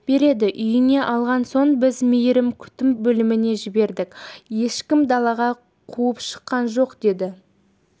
береді үйіне алмаған соң біз мейірім күтім бөлмесіне жібердік ешкім далаға қуып шыққан жоқ деді